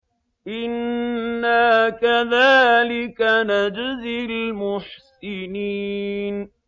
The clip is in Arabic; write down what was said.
إِنَّا كَذَٰلِكَ نَجْزِي الْمُحْسِنِينَ